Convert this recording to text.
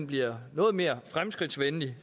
bliver noget mere fremskridtsvenlig